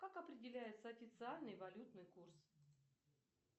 как определяется официальный валютный курс